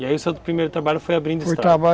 E aí o seu primeiro trabalho foi abrindo estrada? Foi